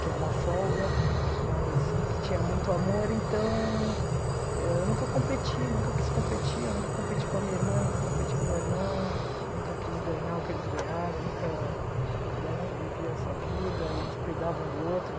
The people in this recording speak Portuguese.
que é uma folga, mas que tinha muito amor, então eu nunca competi, nunca quis competir, eu nunca competi com a minha irmã, nunca competi com o meu irmão, nunca quis ganhar o que eles ganharam, nunca... Cada um vivia a sua vida e cuidava um do outro.